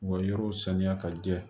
U ka yɔrɔw saniya ka jɛ